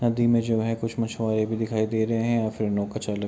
नदी में जो है कुछ मछुआरे भी दिखाई दे रहें हैं और फिर नौका चालक --